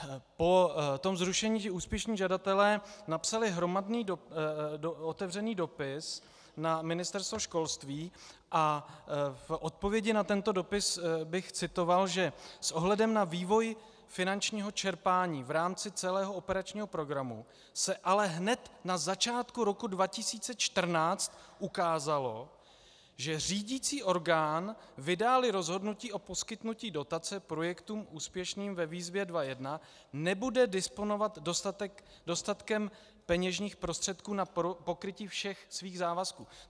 Po tom zrušení úspěšní žadatelé napsali hromadný otevřený dopis na Ministerstvo školství a v odpovědi na tento dopis bych citoval, že s ohledem na vývoj finančního čerpání v rámci celého operačního programu se ale hned na začátku roku 2014 ukázalo, že řídicí orgán, vydá-li rozhodnutí o poskytnutí dotace projektům úspěšným ve výzvě 2.1, nebude disponovat dostatkem peněžních prostředků na pokrytí všech svých závazků!